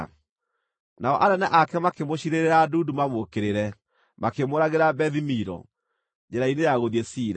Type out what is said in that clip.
Nao anene ake makĩmũciirĩrĩra ndundu mamũũkĩrĩre, makĩmũũragĩra Bethi-Milo, njĩra-inĩ ya gũthiĩ Sila.